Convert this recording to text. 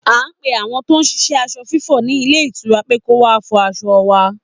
A pe àwọn tó ń ṣiṣẹ́ aṣọ fífọ̀ ní ilé ìtura pé kọ́ wá fọ aṣọ wa